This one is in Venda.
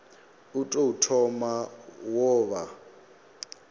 u tou thoma wo vha